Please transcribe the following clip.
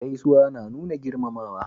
Gaisuwa na nuna girmamawa